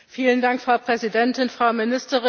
Frau Präsidentin, Frau Ministerin!